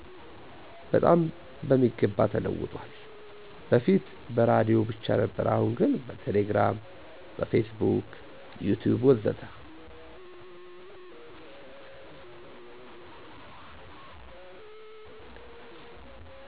በጣም በሚገባ ተለውጧል በፊት በራዲዮ ብቻ ነበር አሁን ግን በቴሌግራም፣ በፌስቡክ፣ ዩቲዩብ ወዘተ።